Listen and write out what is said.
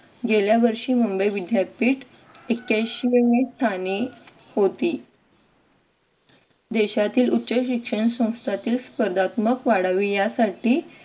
गेल्या वर्षी मुंबई विद्यापीठ ऐक्यांशी व्या स्थानी होती. देशातील उच्च शिक्षण संस्थातील स्पर्धात्मक वाढावे यासाठी